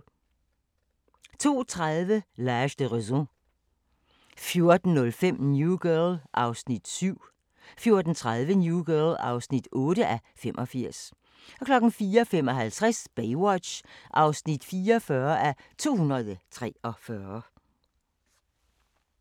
02:30: L'Age de Raison 04:05: New Girl (7:85) 04:30: New Girl (8:85) 04:55: Baywatch (44:243)